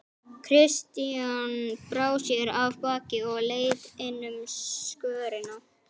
Christian brá sér af baki og leit inn um skörina.